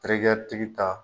Terikɛya tigi ta.